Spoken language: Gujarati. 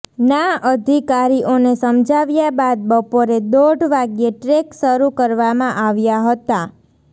ના અધિકારીઓને સમજાવ્યા બાદ બપોરે દોઢ વાગ્યે ટ્રેક શરૂ કરવામાં આવ્યા હતા